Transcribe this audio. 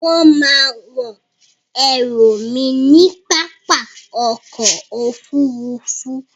Wón má a wọ́n ẹrù mi ní pápá ọkò òfurufú.